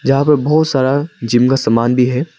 यहां पे बहुत सारा जिम का सामान भी है।